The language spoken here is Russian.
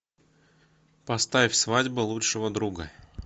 поставь свадьба лучшего друга